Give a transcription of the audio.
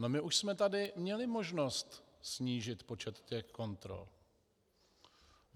No, my už jsme tady měli možnost snížit počet těch kontrol.